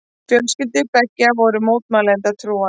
Fjölskyldur beggja voru mótmælendatrúar.